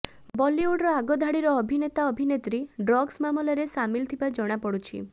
ବଲିଉଡର ଆଗଧାଡିର ଅଭିନେତା ଅଭିନେତ୍ରୀ ଡ୍ରଗ୍ସ ମାମଲାରେ ସାମିଲ ଥିବା ଜଣାପଡୁଛି